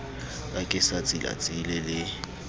ka ke sa tsilatsile le